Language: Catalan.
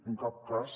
en cap cas